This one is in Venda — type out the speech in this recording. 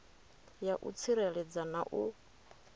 ya u tsireledza na u